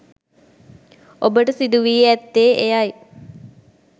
ඔබට සිදුවී ඈත්තේ එයයි